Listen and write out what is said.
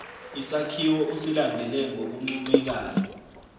isakhiwo usilandele ngokuncomekayo